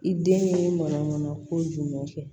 I den ye mana ko jumɛn kɛ